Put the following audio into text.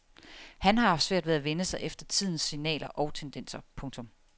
Han har haft svært ved at vende sig efter tidens signaler og tendenser. punktum